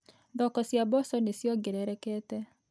Thoko cia mboco nĩ ciongererekete.